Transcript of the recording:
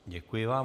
Děkuji vám.